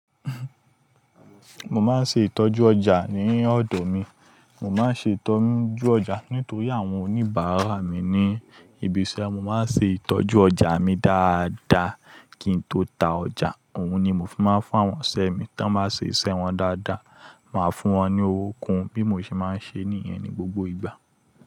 Mo máa ń ṣe ìtọ́jú ọjà ní ọ̀dọ̀ mi. Mo máa ń ṣe ìtọ́jú ọjà nítorí àwọn oníbàárà mi ní ibi iṣẹ́. Mo máa ń ṣe ìtọ́jú ọjà mi dáadáa kí n tó ta ọjà. Òun ni mo fi máa ń fún àwọn ọsiṣẹ mi. Tí wọ́n bá ṣe iṣẹ́ wọn dáadáa, màá fún wọn ní owó kun bí mo ṣe máa ń ṣe nìyen ni gbogbo ìgbà.